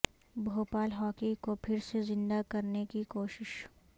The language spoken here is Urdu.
بھوپال ہاکی کو پھر سے زندہ کرنے کی کوشش